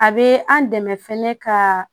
A bɛ an dɛmɛ fɛnɛ ka